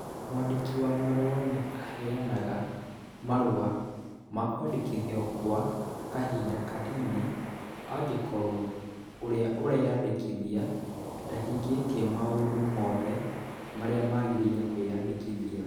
Mwandiki wa marũa nĩ aheanaga marũa ma kwandĩkithio gwa kahinda kanini angĩkorũo ũrĩa ũreyandĩkithia ndahingĩtie maũndũ mothe marĩa magĩrĩire kwĩyandĩkithia.